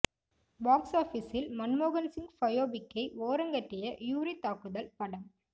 box ஆபீஸில் மன்மோகன் சிங் பயோபிக்கை ஓரங்கட்டிய யூரி தாக்குதல் படம்